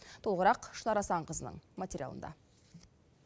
толығырақ шынар асанқызының материалында